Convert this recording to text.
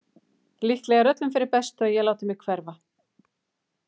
Líklega er öllum fyrir bestu að ég láti mig hverfa.